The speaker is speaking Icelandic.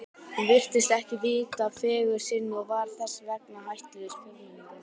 Hún virtist ekki vita af fegurð sinni og var þess vegna hættulegust fjórmenninganna.